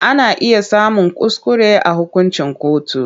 Ana iya samun kuskure a hukuncin kotu.